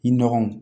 I nɔgɔ